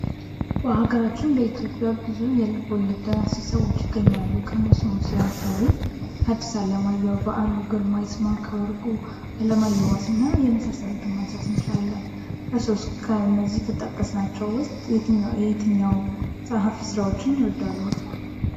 በሀገራችን በኢትዮጵያ ብዙ የልቦለድ ደራሲ ሰዎች ይገኛሉ ከእነሱም ውስጥ ለምሳሌ ሀዲስ አለማየሁ ፣በዓሉ ግርማ ፣ይስማዕከ ወርቁ፣ አለማየሁ ዋሴ እና የመሳሰሉትን ማንሳት ይቻላል። እርስዎስ ከእነዚህ ከጠቀስናቸው ውስጥ የየትኛው ፀሀፊ ስራን ይወዳሉ?